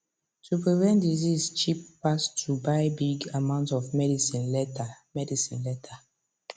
to prevent disease cheap pass to buy big amounts of medicine later medicine later